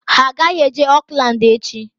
Ha agaghị eje Oakland echi!